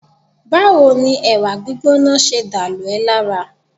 Báwo ni ẹ̀wà gbígbóná ṣe dà lù ẹ́ lára?